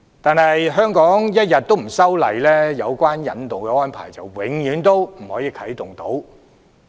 但是，香港一天不修訂，有關的引渡安排便一天不能啟動。